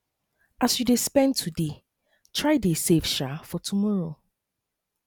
as you de spend today try dey save um for tomorrow